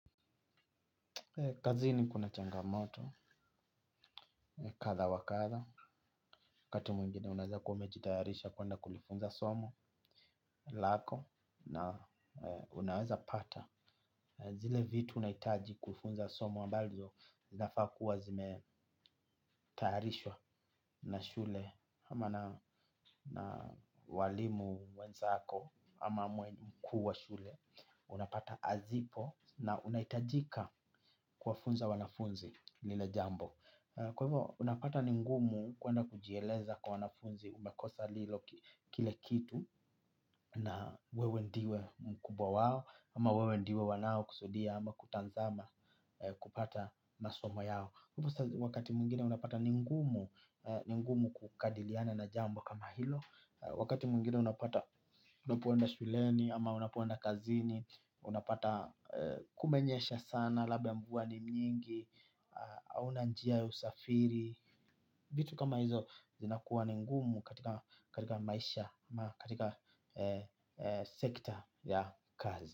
Kazini kuna changamoto, kadha wakadha, wakati mwingine unaweza kuwa umejitayarisha kwenda kulifunza somo, lako, na unaweza pata, zile vitu unaitaji kufunza somo ambavyo, zinafaa kuwa zimetayarishwa na shule, ama na walimu wenzako, ama mwalimu mkuu wa shule, unapata hazipo, na unahitajika kuwafunza wanafunzi lile jambo. Kwa hivyo, unapata ningumu kwenda kujieleza kwa wanafunzi umakosa lilo kile kitu na wewe ndio mkubwa wao ama wewe ndio wanao kusudia ama kutazama kupata masomo yao. Wakati mwingine unapata ningumu kukabiliana na jambo kama hilo. Wakati mwingine unapata unapoenda shuleni ama unapoenda kazini. Unapata kumenyesha sana labda mvua ni nyingi hauna njia ya usafiri vitu kama hizo inakuwa ningumu katika maisha ama katika sector ya kazi.